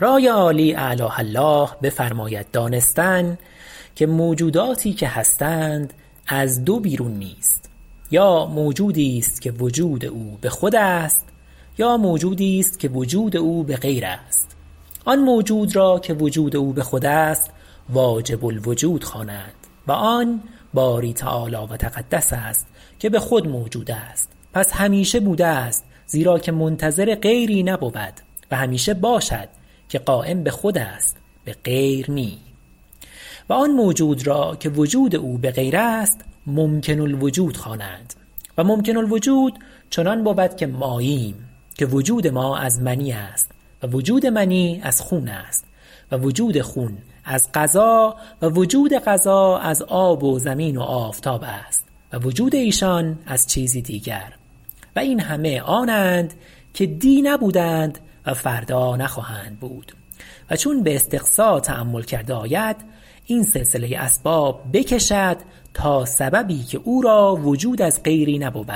رای عالی اعلاه الله بفرماید دانستن که موجوداتی که هستند از دو بیرون نیست یا موجودی است که وجود او بخود است یا موجودی که وجود او بغیر است آن موجود را که وجود او بخود است واجب الوجود خوانند و آن باری تعالی و تقدس است که بخود موجود است پس همیشه بوده است زیرا که منتظر غیری نبود و همیشه باشد که قایم بخود است بغیر نی و آن موجود را که وجود او بغیر است ممکن الوجود خوانند و ممکن الوجود چنان بود که ماییم که وجود ما از منی است و وجود منی از خون است و وجود خون از غذا و وجود غذا از آب و زمین و آفتاب است و وجود ایشان از چیزی دیگر و این همه آنند که دی نبودند و فردا نخواهند بود و چون باستقصاء تأمل کرده آید این سلسله اسباب بکشد تا سببی که او را وجود از غیری نبود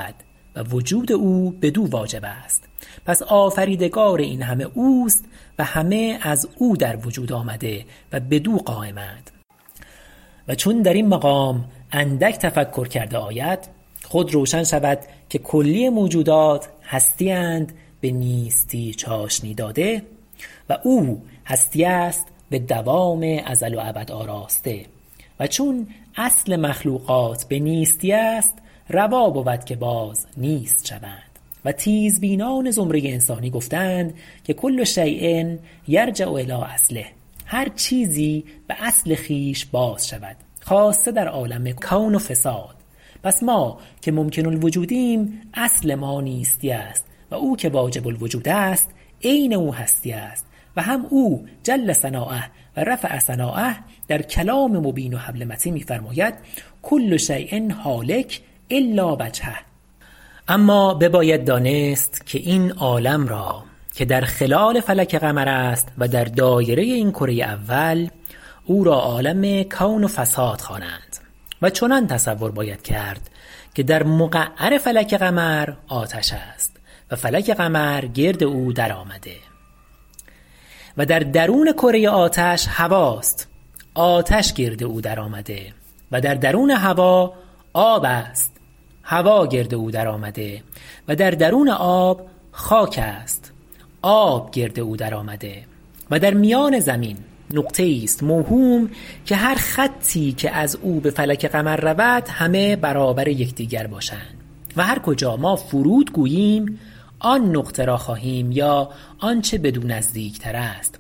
و وجود او بدو واجب است پس آفریدگار این همه اوست و همه ازو در وجود آمده و بدو قایم اند و چون در این مقام اندک تفکر کرده آید خود روشن شود که کلی موجودات هستی اند به نیستی چاشنی داده و او هستی است بدوام ازل و ابد آراسته و چون اصل مخلوقات به نیستی است روا بود که باز نیست شوند و تیزبینان زمره انسانی گفته اند که کل شیء یرجع الی اصله هر چیزی به اصل خویش باز شود خاصه در عالم کون و فساد پس ما که ممکن الوجودیم اصل ما نیستی است و او که واجب الوجود است عین او هستی است و هم او جل ثناؤه و رفع سناؤه در کلام مبین و حبل متین می فرماید کل شیء هالک الا وجهه اما بباید دانست که این عالم را که در خلال فلک قمر است و در دایره این کره اول او را عالم کون و فساد خوانند و چنان تصور باید کرد که در مقعر فلک قمر آتش است و فلک قمر گرد او در آمده و در درون کره آتش هواست آتش گرد او در آمده و در درون هوا آب است هوا گرد او درآمده و در درون آب خاک است آب گرد او درآمده و در میان زمین نقطه ایست موهوم که هر خطی که ازو به فلک قمر رود همه برابر یکدیگر باشند و هر کجا ما فرود گوییم آن نقطه را خواهیم یا آنچه بدو نزدیکتر است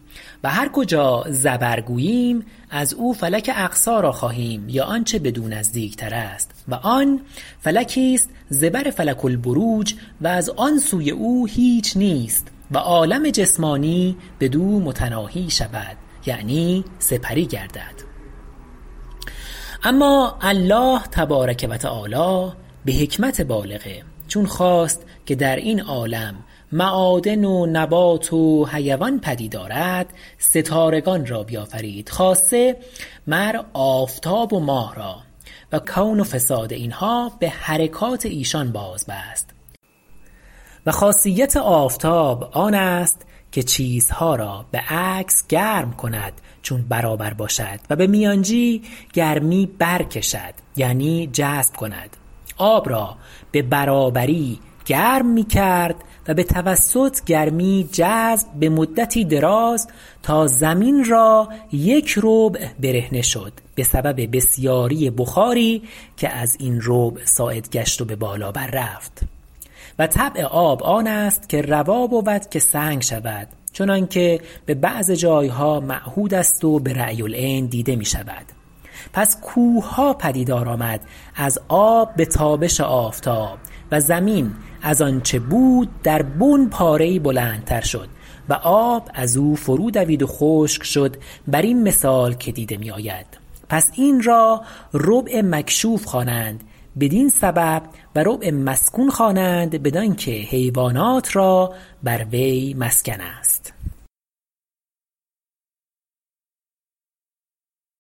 و آن فلکی است زبر فلک البروج و از آنسوی او هیچ نیست و عالم جسمانی بدو متناهی شود یعنی سپری گردد اما الله تبارک و تعالی به حکمت بالغه چون خواست که درین عالم معادن و نبات و حیوان پدید آرد ستارگان را بیافرید خاصه مر آفتاب و ماه را و کون و فساد اینها به حرکات ایشان بازبست و خاصیت آفتاب آن است که چیز ها را بعکس گرم کند چون برابر باشد و به میانجی گرمی برکشد یعنی جذب کند آب را به برابری گرم میکرد و به توسط گرمی جذب به مدتی دراز تا زمین را یک ربع برهنه شد به سبب بسیاری بخار که ازین ربع صاعد گشت و به بالا بر رفت و طبع آب آن است که روا بود که سنگ شود چنانکه به بعض جای ها معهود است و برأی العین دیده میشود پس کوهها پدیدار آمد از آب به تابش آفتاب و زمین از آنچه بود درین پاره ای بلندتر شد و آب ازو فرو دوید و خشک شد برین مثال که دیده می آید پس این را ربع مکشوف خوانند بدین سبب و ربع مسکون خوانند بدانکه حیوانات را بر وی مسکن است